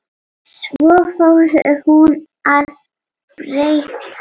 Svo fór hún að breyta.